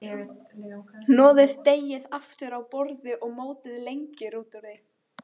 Hnoðið deigið aftur á borði og mótið lengjur úr því.